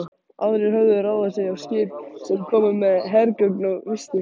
Aðrir höfðu ráðið sig á skip, sem komu með hergögn og vistir.